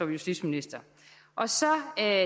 justitsminister og så